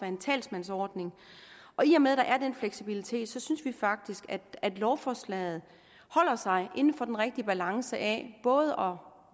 en talsmandsordning og i og med der er den fleksibilitet synes vi faktisk at lovforslaget holder sig inden for den rigtige balance af både